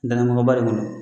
Kun dɔ